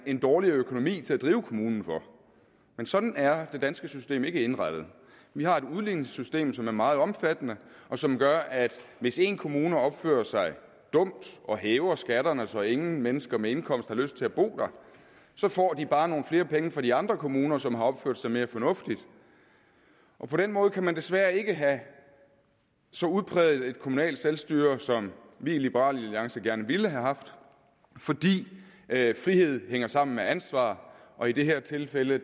en dårligere økonomi til at drive kommunen for men sådan er det danske system ikke indrettet vi har et udligningssystem som er meget omfattende og som gør at hvis en kommune opfører sig dumt og hæver skatterne så ingen mennesker med indkomst har lyst til at bo der så får de bare nogle flere penge fra de andre kommuner som har opført sig mere fornuftigt og på den måde kan man desværre ikke have et så udpræget kommunalt selvstyre som vi i liberal alliance gerne ville have haft fordi friheden hænger sammen med ansvar og i det her tilfælde